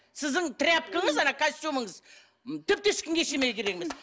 сіздің тряпкаңыз ана костюміңіз тіпті ешкімге ештеңеге керек емес